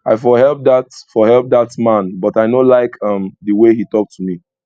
i for help dat for help dat man but i no like um the way he talk to me